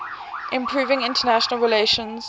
improving international relations